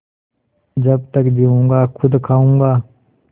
जब तक जीऊँगा खुद खाऊँगा